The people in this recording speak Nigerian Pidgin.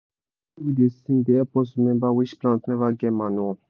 song wey we da sing when we da do fertiliza work no hard to learn